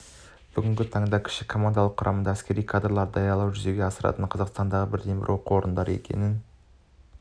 бүгінгі таңда кіші командалық құрамдағы әскери кадрларды даярлауды жүзеге асыратын қазақстандағы бірден-бір оқу орны екенін